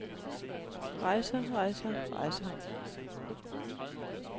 rejser rejser rejser